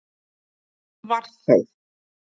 Það var þá!